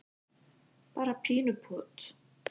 bara pínu pot.